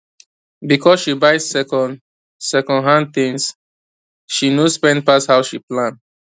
because she buy second second hand things she no spend pass how she plan